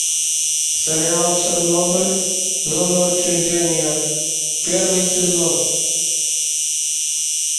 сериал чернобыль зона отчуждения первый сезон